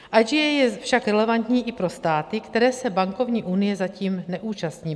IGA je však relevantní i pro státy, které se bankovní unie zatím neúčastní.